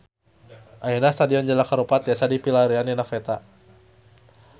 Ayeuna Stadion Jalak Harupat tiasa dipilarian dina peta